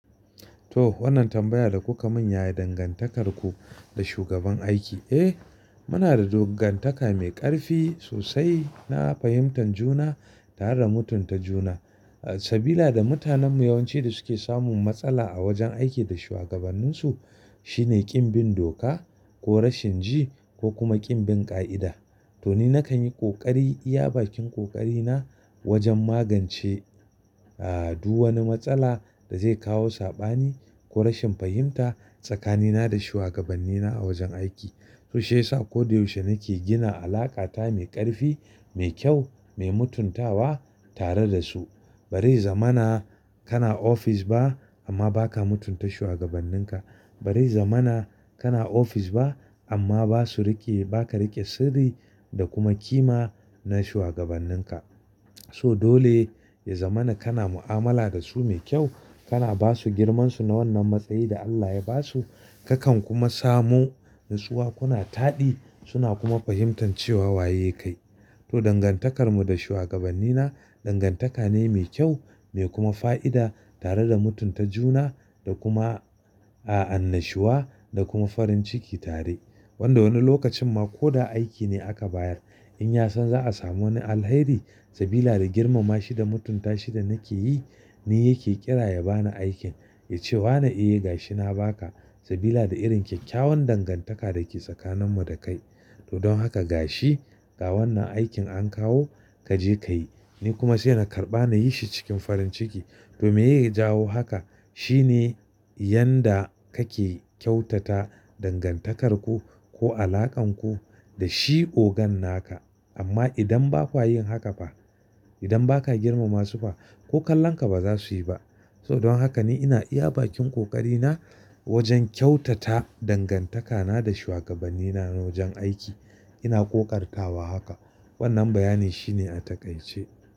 To wannan tambaya da kuka min yayi dangantakarku da shugaban aiki. Eh muna da dangantaka mai ƙarfi sosai, na fahimtar juna tare da mutunta juna. Sabila da mutanenmu yawanci da suke samun matsala a wajen aiki da shuwagabanninsu shine ƙin bin doka ko rashin ji ko kuma ƙin bin ƙa'ida. To ni nakan yi ƙoƙari iya bakin ƙoƙari na wajen magance, aa du wani matsala da zai kawo saɓani ko rashin fahimta tsakanina da shuwagabannina a wajen aiki. To shiyasa koda yaushe nake gina alaƙata mai ƙarfi, mai kyau, mai mutuntawa tare da su. Barai zamana kana ofis ba amma baka mutunta shuwagabanninka. Bari zamana kana ofis ba amma basu riƙe baka riƙe sirri da kuma kima na shuwagabanninka. So dole ya zamana kana mu'amala da su mai kyau, kana basu girmansu na wannan matsayi da Allah ya basu kakan kuma samu natsuwa kuna taɗi suna kuma fahimtar cewa waye kai. To dangantakarmu da shuwagabannina dangantaka ne mai kyau mai kuma fa'ida tare da mutunta juna da kuma aa annashuwa da kuma farin ciki tare. Wanda wani lokacin ma ko da aiki ne aka bayar in ya san za'a samu wani alheri sabila da girmama shi da mutunta shi da nake yi ni yake ƙira ya bani aikin ya ce wa na iya yi ga shi na baka sabila da irin kyakkyawan dangantaka da ke tsakaninmu da kai. To don haka ga shi ga wannan aikin an kawo kaje kayi. Ni kuma sai na karɓa na yi shi cikin farin ciki to me ye jawo haka shine yan da kake kyautata dangantakarku ko alaƙanku da shi ogan naka. Amma idan ba kwa yin haka fa, idan ba ka girmama su fa ko kallonka ba za su yi ba. So don haka ni ina iya bakin ƙoƙari na wajen kyautata dangantakana da shuwagabannina na wajen aiki. Ina ƙoƙartawa haka. Wannan bayani shine a takaice.